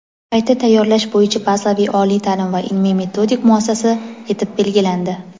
qayta tayyorlash bo‘yicha bazaviy oliy taʼlim va ilmiy-metodik muassasa etib belgilandi.